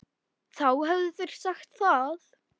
Þá hefðu þeir sagt það.